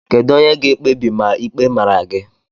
Kedu onye ga-ekpebi ma ịkpe mara gị